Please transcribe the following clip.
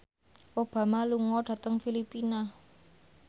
Obama lunga dhateng Filipina